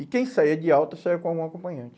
E quem saía de alta saía com algum acompanhante.